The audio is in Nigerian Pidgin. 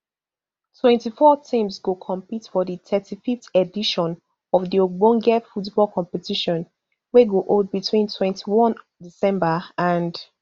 twenty-four teams go compete for di thirty-fiveth edition of di ogbonge football competition wey go hold between twenty-one december and